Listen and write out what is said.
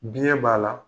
Biɲɛ b'a la